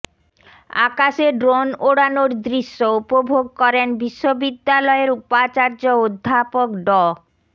আকাশে ড্রোন ওড়ানোর দৃশ্য উপভোগ করেন বিশ্ববিদ্যালয়ের উপাচার্য অধ্যাপক ড